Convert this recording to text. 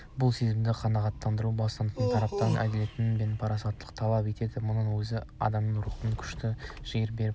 бұл сезімді қанағаттандыру бастықтардың тарапынан әділеттілік пен парасаттылықты талап етеді мұның өзі адамды рухтандырып күш-жігер беріп